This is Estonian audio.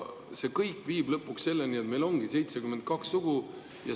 See kõik viib lõpuks selleni, et meil ongi 72 sugu.